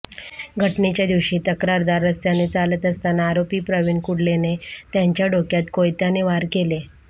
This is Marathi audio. घटनेच्या दिवशी तक्रारदार रस्त्याने चालत असताना आरोपी प्रवीण कुडलेने त्यांच्या डोक्यात कोयत्याने वार केले